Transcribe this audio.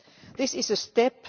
This is a step